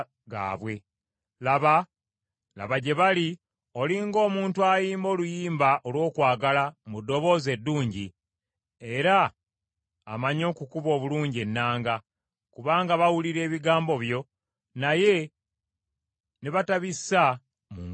laba gye bali oli ng’omuntu ayimba oluyimba olw’okwagala mu ddoboozi eddungi, era amanyi okukuba obulungi ennanga, kubanga bawulira ebigambo byo naye ne batabissamu nkola.